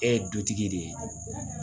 E ye dutigi de ye